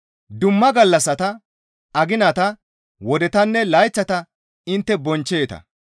Dumma gallassata, aginata, wodetanne layththata intte bonchcheeta.